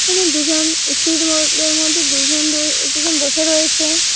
এখানে দুজন স্পিড বোর-ডের মধ্যে দুজন রয়ে দুজন বসে রয়েছে ।